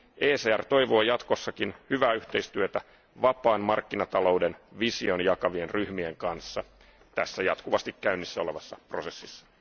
ECR toivoo jatkossakin hyvää yhteistyötä, vapaan markkinatalouden vision jakavien ryhmien kanssa tässä jatkuvasti käynnissä olevassa prosessissa.